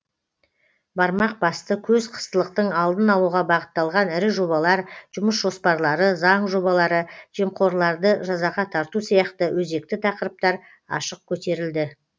бармақ басты көз қыстылықтың алдын алуға бағытталған ірі жобалар жұмыс жоспарлары заң жобалары жемқорларды жазаға тарту сияқты өзекті тақырыптар ашық көтерілді